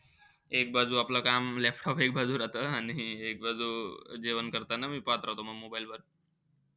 एक बाजू आपलं काम, laptop एक बाजू राहतं. आणि एक बाजू जेवण करताना मी पाहत राहतो म mobile वर.